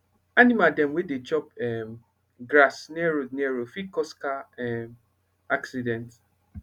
animal dem wey dey chop um grass near road near road fit cause car um accident